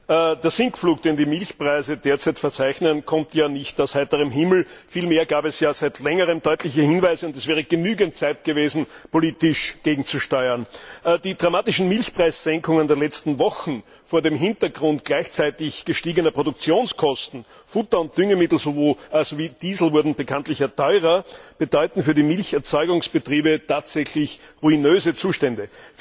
Sehr geehrter Herr Präsident! Der Sinkflug, den die Milchpreise derzeit verzeichnen, kommt ja nicht aus heiterem Himmel. Vielmehr gab es seit längerem deutliche Hinweise, und es wäre genügend Zeit gewesen, politisch gegenzusteuern. Die dramatischen Milchpreissenkungen der letzten Wochen vor dem Hintergrund gleichzeitig gestiegener Produktionskosten sowohl Futter und Düngemittel als auch Diesel wurden bekanntlich teurer bedeuten für die Milcherzeugungsbetriebe tatsächlich ruinöse Zustände.